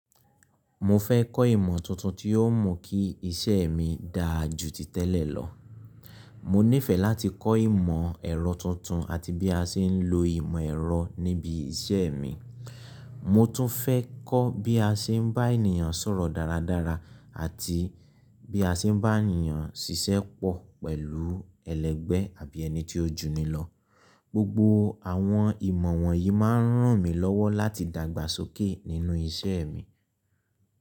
Mo fẹ́ kọ́ ìmọ̀ tuntun tí yóò mú kí iṣẹ́ mi dáa jù ti tẹ́lẹ̀ lọ. Mo nífẹ̀ẹ́ láti kọ́ ìmọ̀ ẹ̀rọ tuntun àti bí a ṣe ń lo ìmọ̀ ẹ̀rọ níbi iṣẹ́ mi. Mo tún fẹ́ kọ́ bí a ṣe ń bá ènìyàn sọ̀rọ̀ dáradára àti bí a ṣe ń bá ènìyàn ṣiṣẹ́ pọ̀ pẹ̀lú ẹlẹgbẹ́ àbí ẹni tí ó jù ni lọ. Gbogbo àwọn ìmọ̀ wọ̀nyí máa ń ràn mí lọ́wọ́ láti dàgbàsókè nínú iṣẹ́ mi.